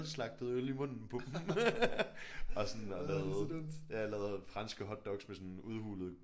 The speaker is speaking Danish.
Slagtede øl i munden på dem og sådan og lavede ja lavede franske hotdogs med sådan udhulede